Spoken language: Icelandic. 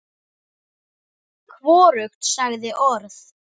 Hvorugt sagði orð.